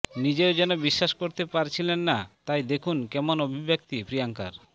নিজেও যেন বিশ্বাস করতে পারছিলেন না তাই দেখুন কেমন অভিব্যক্তি প্রিয়াঙ্কার